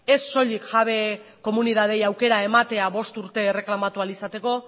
ez soilik jabe komunitateei aukera ematea bost urte erreklamatu ahal izateko